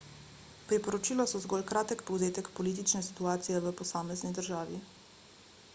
priporočila so zgolj kratek povzetek politične situacije v posamezni državi